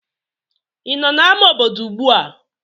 Ị nọ n'amá obodo ugbu a?